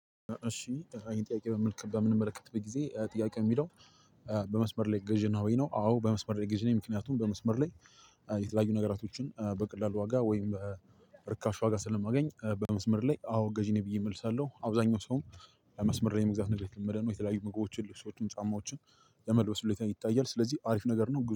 እሺ ቀጣዩን ጥያቄ በምንመለከትበት ጊዜ ጥያቄ የሚለው በመስመር ላይ ገዢ ነህ ወይ? አዎ በመስመር ላይ ገዢ ነኝ። ምክንያቱም በመስመር ላይ የተለያዩ ነገሮችን በቀላሉ ዋጋ ወይም በርካሽ ዋጋ ስለማገኝ በመስመር ላይ አዎ ገዢ ነኝ ብዬ እመልሳለሁ። አብዛኛው ሰውም መስመር ላይ የመግዛት ነገር የተለመደ ነው። የተለያዩ ምግቦችን፤ ልብሶችን፤ ጫማዎችን የመልበስ ሁኔታ ይታያል። ስለዚህ አሪፍ ነገር ነው።